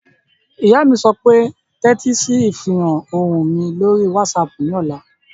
Ìyá mi yóò sọ pé "tẹ́tí sí ìfiránsẹ́ ohùn mi lórí wásaàpù ní ọ̀la!"